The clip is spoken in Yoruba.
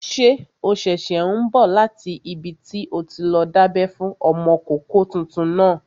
Ṣé o ṣẹ̀ṣẹ̀ n bọ̀ láti ibi tí o ti lọ dábẹ́ fún ọmọkọ́kọ́ tuntun náà?